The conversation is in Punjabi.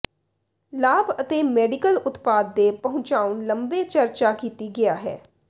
ਲਾਭ ਅਤੇ ਮੈਡੀਕਲ ਉਤਪਾਦ ਦੇ ਪਹੁੰਚਾਉਣ ਲੰਬੇ ਚਰਚਾ ਕੀਤੀ ਗਿਆ ਹੈ